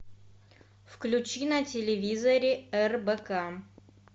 включи на телевизоре рбк